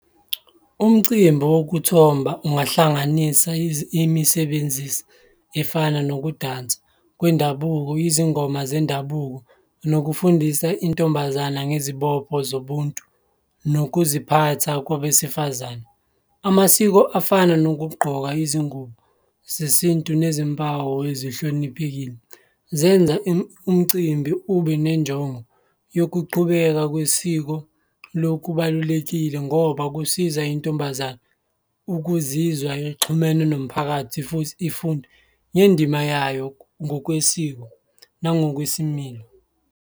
Umcimbi wokuthomba ungahlanganisa imisebenzisi efana nokudansa kwendabuko, izingoma zendabuko nokufundisa intombazana ngezibopho zobuntu nokuziphatha kwabesifazane. Amasiko afana nokugqoka izingubo zesintu nezimpawu ezihloniphekile, zenza umcimbi ube nenjongo yokuqhubeka kwesiko, lokhu kubalulekile ngoba kusiza intombazane ukuzizwa ixhumene nomphakathi futhi ifunde ngendima yayo ngokwesiko nangokwesimilo.